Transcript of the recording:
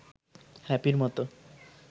হ্যাপির মতো